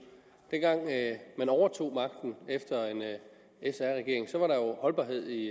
dengang man overtog magten efter en sr regering var der jo holdbarhed i